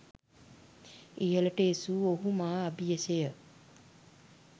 ඉහළට එසවූ ඔහු මා අබියස ය.